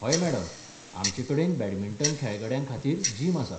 हय मॅडम, आमचे कडेन बॅडमिंटन खेळगड्यां खातीर जिम आसा.